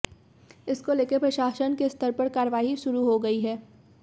इसको लेकर प्रशासन के स्तर पर कार्रवाई शुरू हो गई है